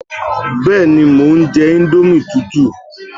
Bẹ́ẹ̀ni, mo ń jẹ íńdómì tútù